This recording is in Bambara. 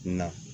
Na